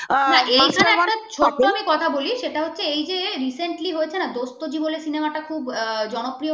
একটা কথা বলি আমি সেটা এই যে recently হয়েছে না দোস্তও জি বলে cinema টা খুব খুব জনপ্রিয় হয়েছে